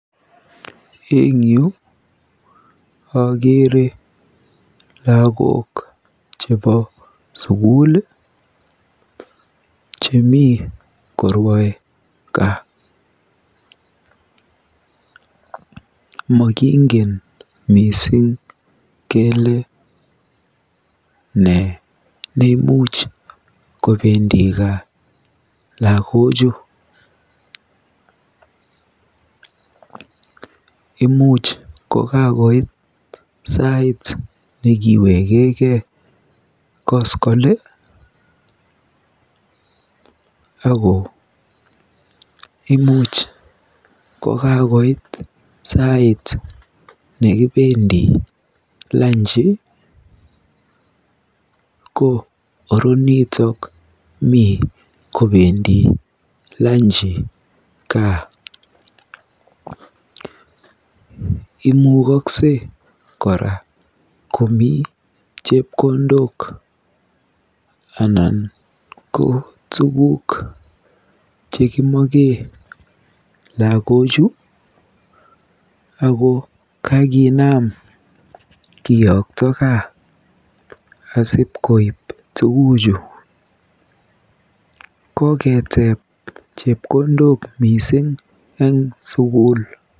Eng yu akeere lagok chebo sukul chemi korwae kaa. Mokingen mising kele nee neimuch kobendi gaa lagochu. Imuuch ko kakoit sait nekiwechegei koskole ako imuch kaakoit sait nekibendi lanji ko oronitok mii kobendi lanji kaa. Imukokwei kora komi chepkondok anan ko tuguk chekimoche lagochu ako kakinam kiyokto gaa asipkoip tuguchu. Koketeeb chepkondok mising eng sukul.